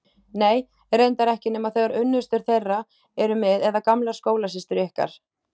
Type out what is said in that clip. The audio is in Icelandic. Nei, reyndar ekki nema þegar unnustur þeirra eru með eða gamlar skólasystur ykkar.